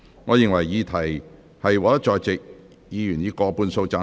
我認為議題獲得在席議員以過半數贊成。